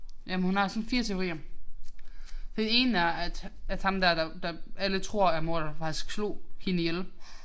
Jamen hun har sådan 4 teorier. Den ene er at at ham der der at alle tror er morderen faktisk slog hende ihjel